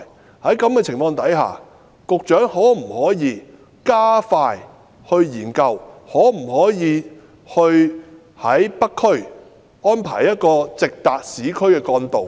我想問局長，在這種情況下，局長可否加快研究，能否在北區安排一條直達市區的幹道？